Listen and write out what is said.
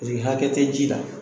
hakɛ tɛ ji la.